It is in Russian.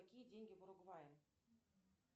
какие деньги в уругвае